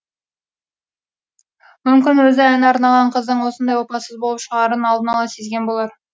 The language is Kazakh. мүмкін өзі ән арнаған қыздың осындай опасыз болып шығарын алдын ала сезген болар